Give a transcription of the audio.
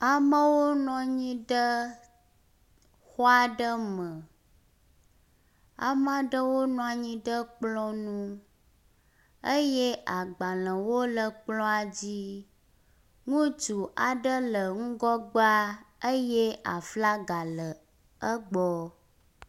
Amewo nɔ anyi ɖe xɔ aɖe me. Ame aɖewo nɔ anyi ɖe kplɔ ŋu eye agbalewo le kplɔa dzi. Ŋutsu aɖe le ŋgɔgbea eye aflaga le egbɔ.